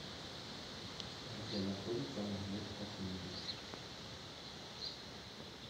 где находится магнит косметик